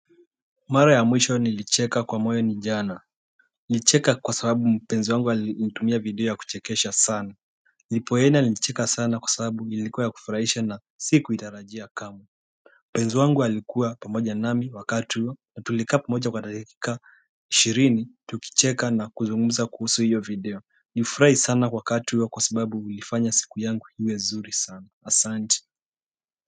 Mara ya mwisho nilicheka kwa moyo ni jana nilicheka kwa sababu mpenzi wangu alinitumia video ya kuchekesha sana nilipoenda nilicheka sana kwa sababu ilikuwa ya kufurahisha na sikuitarajia kamwe Mpenzi wangu alikuwa pamoja nami wakati huo na tulikaa pamoja kwa dakika ka ishirini tukicheka na kuzungumza kuhusu hiyo video nilifurahi sana wakati huo kwa sababu ilifanya siku yangu iwe nzuri sana asante.